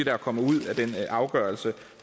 er kommet ud af den afgørelse